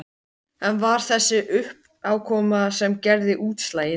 En var það þessi uppákoma sem gerði útslagið?